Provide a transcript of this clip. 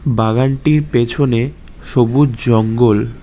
বাগানটির পেছনে সবুজ জঙ্গল।